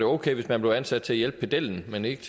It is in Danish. okay hvis man blev ansat til at hjælpe pedellen men ikke